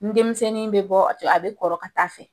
Ni denmisɛnnin bɛ bɔ a bɛ kɔrɔ ka taa fɛ.